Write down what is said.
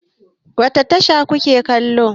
Wace tasha ku ke kallo?